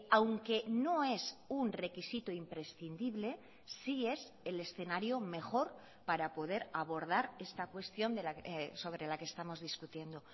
aunque no es un requisito imprescindible sí es el escenario mejor para poder abordar esta cuestión sobre la que estamos discutiendo